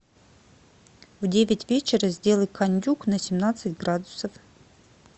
в девять вечера сделай кондюк на семнадцать градусов